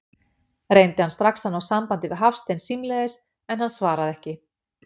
Reyndi hann strax að ná sambandi við Hafstein símleiðis, en hann svaraði ekki.